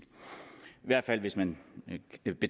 hvert fald hvis man